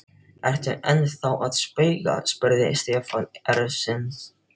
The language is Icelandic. Ertu ennþá að spauga? spurði Stefán efins.